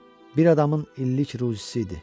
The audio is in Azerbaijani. Bir adamın illik ruzisi idi.